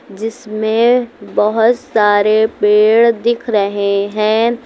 जिसमें बहोत सारे पेड़ दिख रहे हैं।